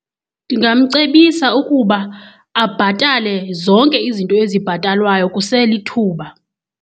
Ndingamcebisa ukuba abhatale zonke izinto ezibhatalwayo kuselithuba.